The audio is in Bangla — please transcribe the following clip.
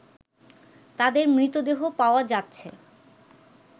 তাদের মৃতদেহ পাওয়া যাচ্ছে